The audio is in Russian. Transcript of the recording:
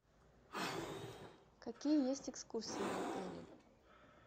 какие есть экскурсии в отеле